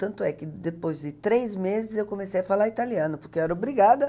Tanto é que depois de três meses eu comecei a falar italiano, porque eu era obrigada.